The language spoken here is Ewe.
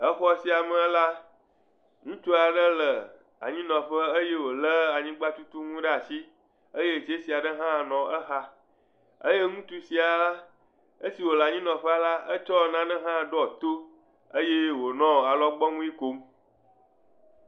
Exɔ sia me la, ŋutsu aɖe le anyinɔƒe eye wòlé anyigbatutunu ɖe asi eye tsesi aɖe nɔ exa. Eye ŋutsu sia la, esi wòle anyinɔƒe la etsɔ nane hã ɖɔɔ to eye wònɔ alɔgbɔnui kom.